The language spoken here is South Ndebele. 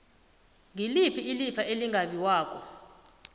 ngiliphi ilifa elingabiwako